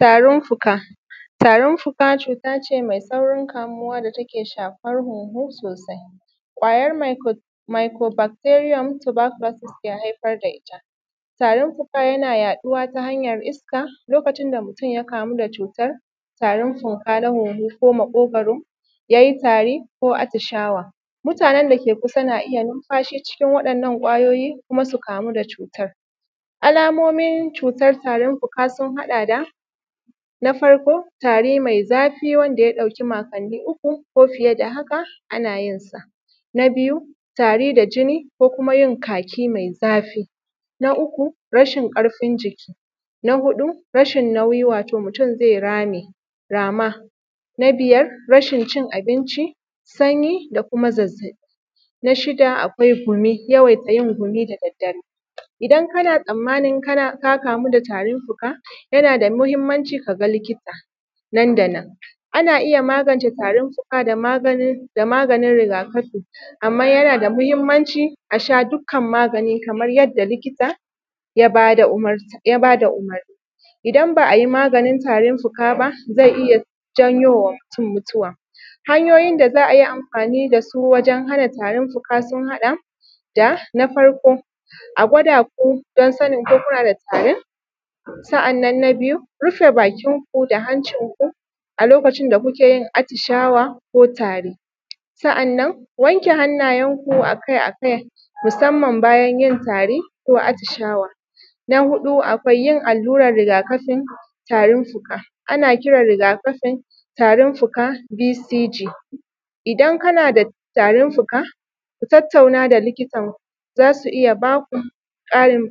Tarin fuka, tarin fuka cuta ce mai saurin kamuwa da take shafan huhu, ƙwayar micro bakteriyam taba kulosis ke haifar da ita. Tarin fuka yana yaɗuwa ta hanyar iska lokacin da mutum ya kamu da cutar tarin fuka na hunhu ko maƙogaro ya yi tari ko atishawa, mutanen dake kusa na iya numfashi cikin wa’inna ƙwayoyi kuma su kamu da cutar. Alamomin cutar tarin fuka sun haɗa da: Na farko, tari mai zafi wanda ya ɗauki makoni uku ko fiye da haka ana yinsa. Na biyu, tari da jini ko kuma yin kaki mai zafi. Na uku rashin ƙarfin jiki. Na huɗu, rashin nauyi wato mutum zai rame, rama. Na biyar, rashin cin abinci, sanyi, da kuma zazzaɓi. Na shida, akwai gumi, yawaita yin gumi da dare. Idan kana tsammanin ka kamu da tarin fuka, yana da muhimmanci kaga likita nan da nan. Ana iya magance tarin fuka da maganin rigakafi, amma yana da mahimmanci asha dukkan magani kaman yadda likita ya bada umurni. Idan ba’ayi maganin tarin fuka ba zai ya janyowa mutum mutuwa. Hanyoyin da za a yi amfani dasu wajen hana tarin fuka sun haɗa da, Na farko, a gwada ku don sanin kuna da tarin? Sa’annan na biyu, rufe bakinku da hancinku alokacin da kuke yin atishawa ko tari. Sa’annan wanke hannayenku akai-akai, musamman bayan yin tari ko atishawa. Na huɗu, akwai yin alluran tarin fuka. Ana kiran rigakafin tarin fuka (VCJ) idan kana da tarin fuka ku tattauna da likita, za su iya baku ƙarin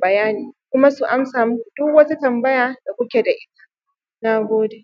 bayani.